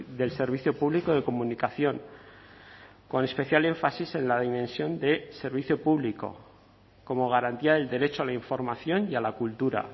del servicio público de comunicación con especial énfasis en la dimensión de servicio público como garantía del derecho a la información y a la cultura